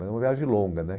Mas é uma viagem longa, né?